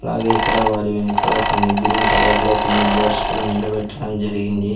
అలాగే ఇక్కడ వారి వెనకాల కొన్ని గ్రీన్ కలర్లో కొన్ని బోర్డ్స్ కూడా నిలబెట్టడం జరిగింది.